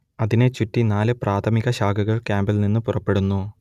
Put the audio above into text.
അതിനെ ചുറ്റി നാല് പ്രാഥമിക ശാഖകൾ കാമ്പിൽ നിന്ന് പുറപ്പെടുന്നു